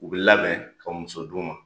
U bi labɛn ka muso d'u ma